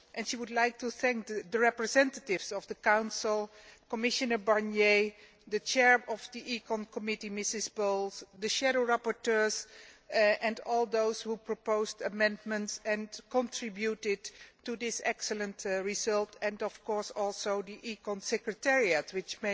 She would like to thank the representatives of the Council, Commissioner Barnier, the Chair of the ECON committee, Ms Bowles, the shadow rapporteurs and all those who proposed amendments and contributed to this excellent result, as well as the ECON Secretariat which